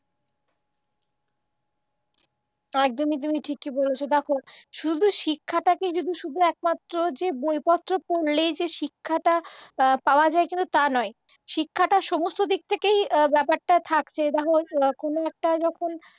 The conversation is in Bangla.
একদমই তুমি ঠিক বলেছ দেখো শুধু শিক্ষাটাকেই যে শুধু একমাত্র যে বইপত্র পড়লেই যে শিক্ষাটা পাওয়া যায় কিন্তু তা নয় শিক্ষাটা সমস্ত দিক থেকেই ব্যাপারটা থাকছে ধরো কোনও একটা যখন